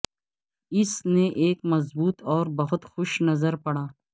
اس نے ایک مضبوط اور بہت خوش نظر پڑا